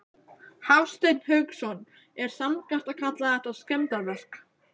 Hafsteinn Hauksson: Er sanngjarnt að kalla þetta skemmdarverk?